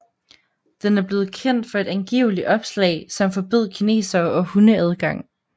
Den er blevet kendt for et angivelig opslag som forbød kinesere og hunde adgang